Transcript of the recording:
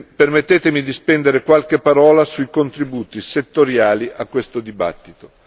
Permettetemi di spendere qualche parola sui contributi settoriali a questo dibattito.